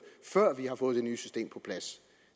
før vi har fået det nye system på plads